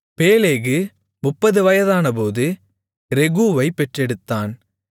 Peleg 30 வயதானபோது ரெகூவைப் பெற்றெடுத்தான்